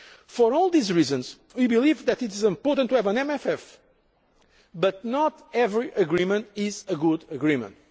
For all these reasons we believe it is important to have an MFF, but not every agreement is a good agreement.